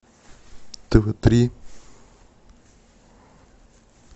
тв три